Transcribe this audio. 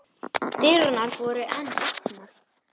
Dyrnar voru enn opnar.